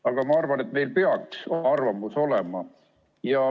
Aga ma arvan, et meil peaks oma arvamus olema.